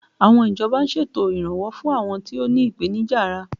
Àwọn ìjọba ń ṣètò iranwọ fún àwọn tó ní ipenija ara